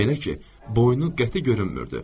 Belə ki, boynu qəti görünmürdü.